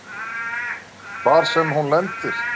Hvar sem hún lendir.